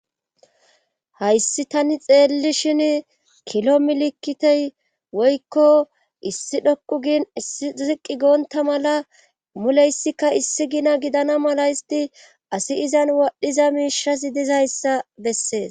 hayssi tani xeelli shin kilo milikitey woykko issi dhoqu gin issi ziqi goonta mala muleyssikka issi gina gidana mala isti asi izan waadhiza miishasi dizayssa bessees